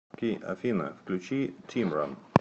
афина включи тимран